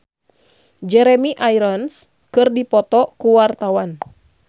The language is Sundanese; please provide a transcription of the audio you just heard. Annisa Trihapsari jeung Jeremy Irons keur dipoto ku wartawan